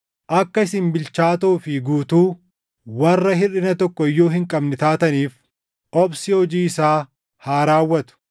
Akka isin bilchaatoo fi guutuu, warra hirʼina tokko iyyuu hin qabne taataniif obsi hojii isaa haa raawwatu.